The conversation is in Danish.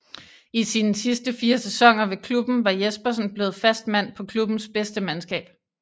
I sine sidste fire sæsoner ved klubben var Jespersen blevet fast mand på klubbens bedste mandskab